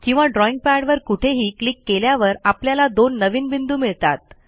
किंवा ड्रॉईंग पॅडवर कुठेही क्लिक केल्यावर आपल्याला दोन नवीन बिंदू मिळतात